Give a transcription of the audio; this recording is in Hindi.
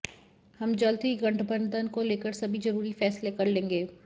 हम जल्द ही गठबंधन को लेकर सभी जरूरी फैसले कर लेंगे